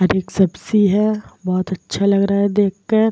हरी सब्जी है। बोहोत अच्छा लग रहा है देखकर।